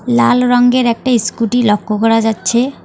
লাল রঙ্গের একটি ইস্কুটি লক্ষ করা যাচ্ছে।